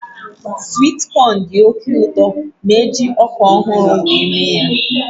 Swit kọn dị oké ụtọ ma eji ọka ọhụrụ were mee ya